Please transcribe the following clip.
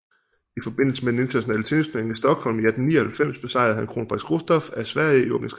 I forbindelse med den internationale tennisturnering i Stockholm i 1899 besejrede han kronprins Gustaf af Sverige i åbningskampen